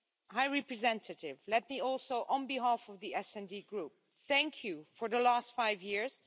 High Representative, let me also, on behalf of the SD Group, thank you for the last 5 years.